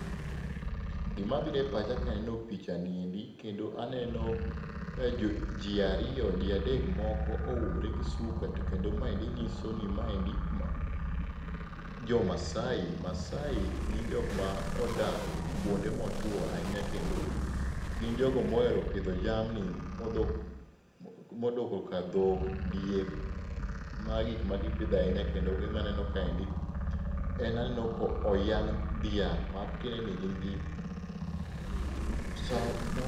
Gima biro e pacha kaneno pichani endi kendo aneno ji ariyo ji adek moko oumore gi suka to kendo mae nyiso ni maendi jo Maasai. Maasai gin jok modak kuonde motwo ahinya kendo gin jogo mohero pidho jamni modoko ka dhok, diek, mago e gik magipidho ahinya. Kendo maneno kaendi en aneno koyang' dhiang' matiende ni gin gi sawmo